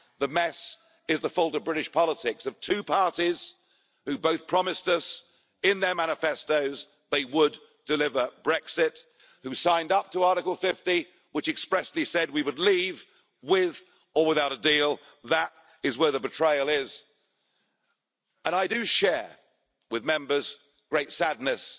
The mess is the fault of British politics, of two parties which both promised us in their manifestos they would deliver Brexit, which signed up to Article 50, which expressly said we would leave with or without a deal. That is where the betrayal is and I do share Members' great sadness